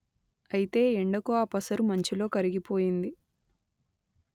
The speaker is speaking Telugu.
అయితే ఎండకు ఆ పసరు మంచులో కరిగిపోయింది